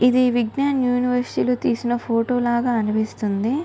ఇది విజ్ఞాన్ యూనివర్సరీ లో తీసిన ఫోటో లగ అనిపిస్తుంది.